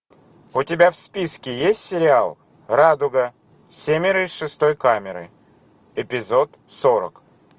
у тебя в списке есть сериал радуга семеро из шестой камеры эпизод сорок